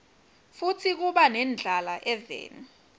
futsi kuba nendlala eveni